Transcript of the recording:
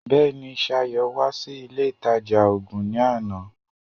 Bẹ́ẹ̀ni, Ṣayọ̀ wá sí ilé ìtajà oògun ní àná